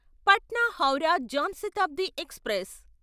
Patna Howrah Jan Shatabdi express